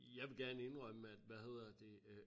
Jeg vil gerne indrømme at hvad hedder det øh